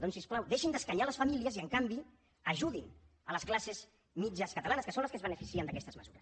doncs si us plau deixin d’escanyar les famílies i en canvi ajudin les classes mitjanes catalanes que són les que es beneficien d’aquestes mesures